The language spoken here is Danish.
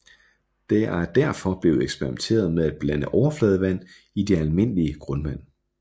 Der er derfor blevet eksperimenteret med at blande overfladevand i det almindelige grundvand